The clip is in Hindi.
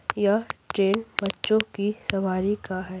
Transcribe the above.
यह ट्रेन बच्चों की सवारी का है।